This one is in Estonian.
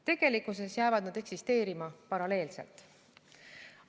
Tegelikkuses jäävad nad eksisteerima paralleelselt.